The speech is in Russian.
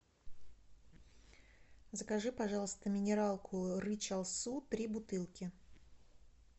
закажи пожалуйста минералку рычал су три бутылки